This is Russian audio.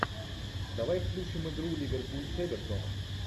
давай включим игру ливерпуль с эвертоном